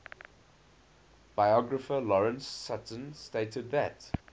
biographer lawrence sutin stated that